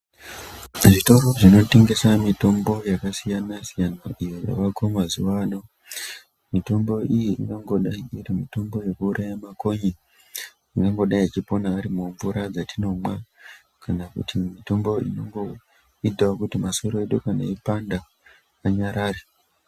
Zvitoro zvinotengesa mitombo yakasiyana siyana iyo yavako mazuwa ano. Mitombo iyi ingangodayi iri mitombo yekuuraya makonye angangodayi achipona ari mumvura dzatinomwa kana kuti mitombo inoitawo kuti kana masoro edu eipanda anyarare.